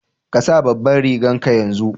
Ka sa babanrigan ka yanzu!